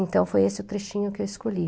Então, foi esse o trechinho que eu escolhi.